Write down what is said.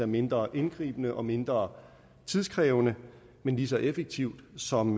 mindre indgribende og mindre tidkrævende men lige så effektivt som